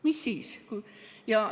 Mis siis!